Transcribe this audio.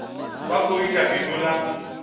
vha khou ita bindu ḽa